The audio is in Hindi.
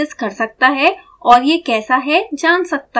कोई भी इसे दूर से एक्सेस कर सकते हैं और ये कैसा है जान सकते हैं